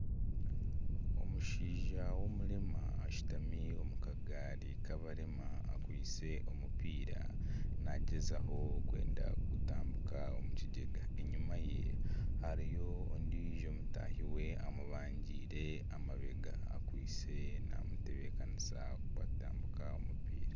Omushaija w'omurema ashutami omu kagaari k'abarema akwaitse omupiira nagyezaho kwenda kugutambika omu kigyega enyuma ye hariyo ondiijo mutahi weye omubangire amabega akwaitse namutebekanisa kutambika omupiira.